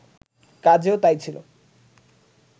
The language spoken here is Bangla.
কাজেও তাই ছিল